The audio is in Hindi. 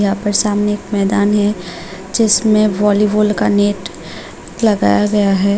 यहां पर सामने एक मैदान है जिसमें वॉलीबॉल का नेट लगाया गया है।